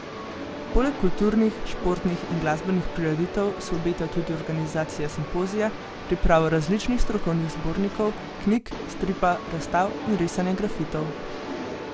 Poleg kulturnih, športnih in glasbenih prireditev se obeta tudi organizacija simpozija, priprava različnih strokovnih zbornikov, knjig, stripa, razstav in risanja grafitov.